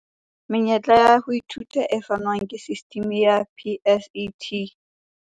Menyetla ya ho ithuta e fanwang ke sistimi ya PSET.